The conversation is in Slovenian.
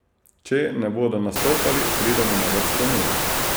Če ne bodo nastopali, pridemo na vrsto mi.